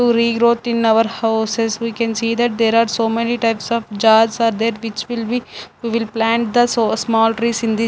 To regrowth in our houses we can see that there are so many types of jars are there which will be we'll plant the sa small trees in the --